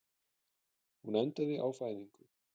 Hún endaði á fæðingu.